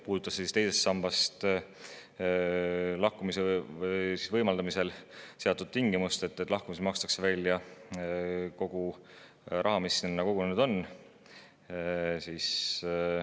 Tutvustus puudutas teisest sambast lahkumise võimaldamisel seatud tingimust, et lahkumisel makstakse välja kogu raha, mis sinna kogunenud on.